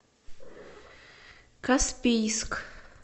каспийск